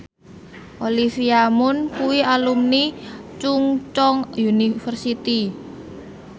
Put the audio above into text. Olivia Munn kuwi alumni Chungceong University